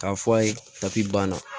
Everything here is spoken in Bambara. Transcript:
K'a fɔ a ye kapi banna